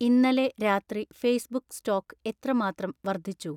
ഇന്നലെ രാത്രി Facebook stock എത്രമാത്രം വർദ്ധിച്ചു